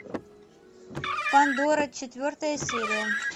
пандора четвертая серия